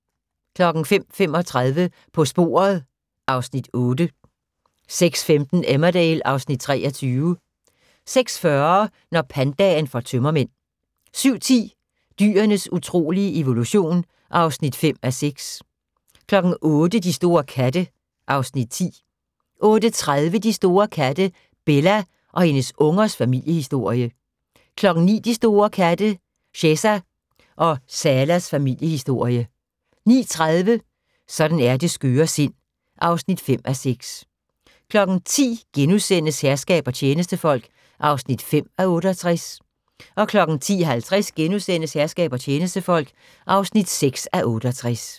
05:35: På sporet (Afs. 8) 06:15: Emmerdale (Afs. 23) 06:40: Når pandaen får tømmermænd 07:10: Dyrenes utrolige evolution (5:6) 08:00: De store katte (Afs. 10) 08:30: De store katte – Bella og hendes ungers familiehisorie 09:00: De store katte – Cheza og Salas familiehistorie 09:30: Sådan er det skøre sind (5:6) 10:00: Herskab og tjenestefolk (5:68)* 10:50: Herskab og tjenestefolk (6:68)*